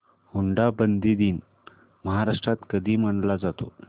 हुंडाबंदी दिन महाराष्ट्रात कधी मानला जातो